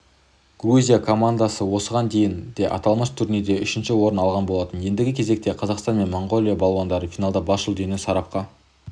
грузия командасы осыған дейін де аталмыш турнирде үшінші орын алған болатын ендігі кезекте қазақстан мен моңғолия балуандары финалда бас жүлдені сарапқа